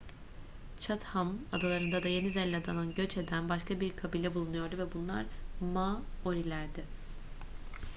chatham adalarında da yeni zelanda'dan göç eden başka bir kabile bulunuyordu ve bunlar maorilerdi